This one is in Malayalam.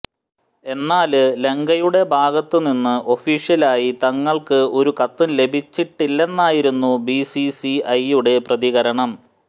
എന്നാല് ലങ്കയുടെ ഭാഗത്തു നിന്നും ഒഫീഷ്യലായി തങ്ങള്ക്കു ഒരു കത്തും ലഭിച്ചിട്ടില്ലെന്നായിരുന്നു ബിസിസിഐയുടെ പ്രതികരണം